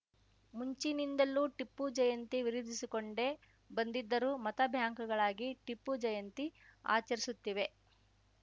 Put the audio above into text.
ಮುಂಚಿನಿಂದಲೂ ಟಿಪ್ಪು ಜಯಂತಿ ವಿರೋಧಿಸಿಕೊಂಡೇ ಬಂದಿದ್ದರೂ ಮತ ಬ್ಯಾಂಕ್‌ಗಳಾಗಿ ಟಿಪ್ಪು ಜಯಂತಿ ಆಚರಿಸುತ್ತಿವೆ